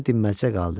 Elə dinməzcə qaldı.